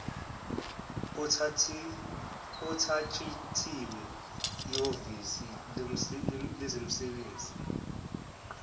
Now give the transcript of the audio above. othatshathiwe ehhovisini lezemisebenzi